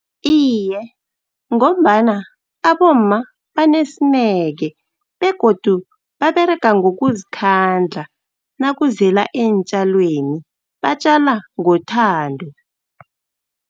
Iye, ngombana abomma banesineke, begodu baberega ngokuzikhandla nakuzela eentjalweni, batjala ngethando.